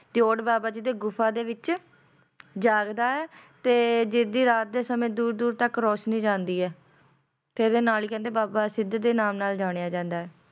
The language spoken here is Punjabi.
ਬਾਬਾ ਜੀ ਦੀ ਗੁਫਾ ਦੇ ਵਿੱਚ ਜਾਗਦਾ ਏ ਤੇ ਜਿਸ ਦੀ ਰਾਤ ਦੇ ਸਮੇਂ ਦੂਰ ਦੂਰ ਤੱਕ ਰੋਸ਼ਨੀ ਜਾਂਦੀ ਏ ਤੇ ਇਹਦੇ ਨਾਲ ਨੀ ਕਹਿੰਦੇ ਬਾਬਾ ਸਿਧ ਦੇ ਨਾਮ ਨਾਲ ਜਾਣਿਆ ਜਾਂਦਾ ਏ